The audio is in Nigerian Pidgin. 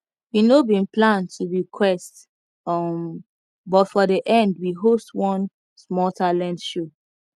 we no bin plan to be quest um but for the end we host one small talent show